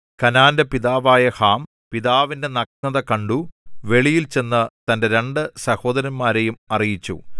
കനാന്റെ പിതാവായ ഹാം പിതാവിന്റെ നഗ്നത കണ്ടു വെളിയിൽ ചെന്ന് തന്റെ രണ്ട് സഹോദരന്മാരെയും അറിയിച്ചു